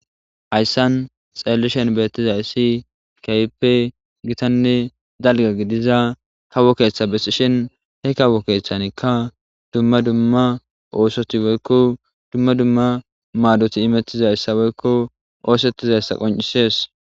Hayssan xeellishen beeththizayssi keehippe githanne dalgga gidiza kawo keeththa besishen he kawo keeththanikka dumma dumma oosothi woykko dumma dumma maadothi imeththizayssa woykko ooseththizayssa qonccissees.